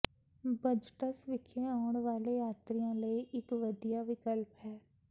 budgets ਵਿਖੇ ਆਉਣ ਵਾਲੇ ਯਾਤਰੀਆਂ ਲਈ ਇੱਕ ਵਧੀਆ ਵਿਕਲਪ ਹੈ